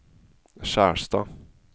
Skjerstad